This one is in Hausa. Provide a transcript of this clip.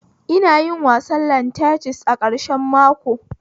Ina yin wasan lantanis a ƙarshen mako